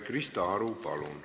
Krista Aru, palun!